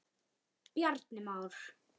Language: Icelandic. Bjarni Már.